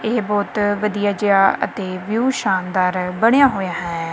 ਏਹ ਬੋਹੁਤ ਵਧੀਆ ਜੇਹਾ ਅਤੇ ਵਿਊ ਸ਼ਾਨਦਾਰ ਬਣਿਆ ਹੋਏਆ ਹੈ।